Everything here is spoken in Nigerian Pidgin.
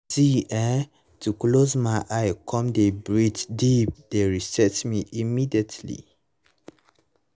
see[um]to close my eyes come dey breathe deep dey reset me immediately